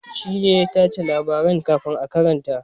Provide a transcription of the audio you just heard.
Shi ne ya a tace labaran kafin a karanta.